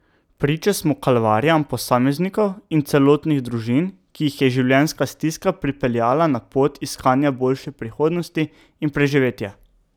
Priče smo kalvarijam posameznikov in celotnih družin, ki jih je življenjska stiska pripeljala na pot iskanja boljše prihodnosti in preživetja.